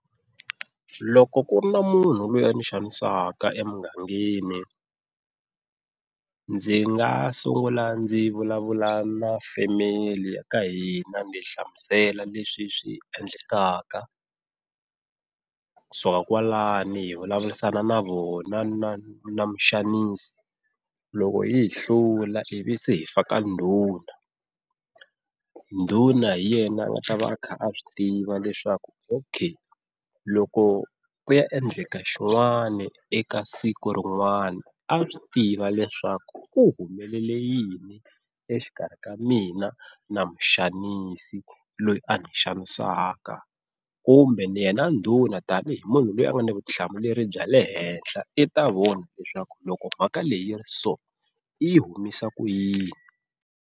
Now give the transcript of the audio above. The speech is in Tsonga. Loko ku ri na munhu loyi a ni xanisaka emugangeni ndzi nga sungula ndzi vulavula na family ya ka hina ndzi hlamusela leswi swi endlekaka, kusuka kwalano hi vulavurisana na vona na na muxanisi loko yi hi hlula ivi se hi faka ndhuna, ndhuna hi yena a nga ta va a kha a swi tiva leswaku okay loko ku ya endleka xin'wani eka siku rin'wana a swi tiva leswaku ku humelele yini exikarhi ka mina na muxanisi ku loyi a ni xanisaka. Kumbe yena ndhuna tani hi munhu loyi a nga na vutihlamuleri bya le henhla i ta vona leswaku loko mhaka leyi ri so i humisa ku yini.